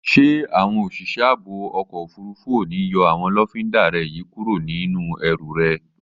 Ṣé àwọn òṣìṣẹ́ ààbò ọkọ̀ òfurufú ò ní yọ àwọn lọ́findà rẹ yí kúrò nínú ẹrù rẹ?